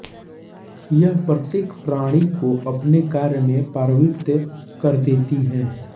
यह प्रत्येक प्राणी को अपने कार्य में प्रवृत कर देती है